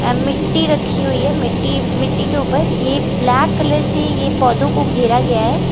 अ मिट्टी रखी हुई है मिट्टी मिट्टी के ऊपर ये ब्लैक कलर से ये पौधों को घेरा गया है।